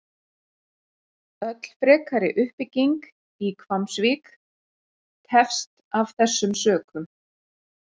Öll frekari uppbygging í Hvammsvík tefst af þessum sökum.